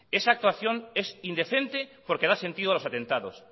esa actuación es indecente porque da sentido a los atentados